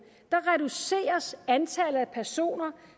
reduceres antallet af personer